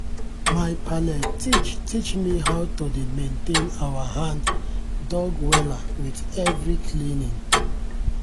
my palle teach teach me how to dey maintain our hand-dug wella with everyday cleaning.